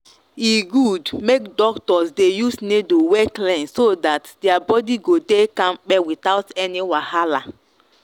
e good make doctors dey use needle wey clean so that their body go dey kampe without any wahala.